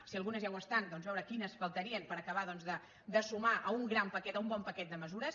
si algunes ja ho estan doncs veure quines faltarien per acabar de sumar a un gran paquet a un bon paquet de mesures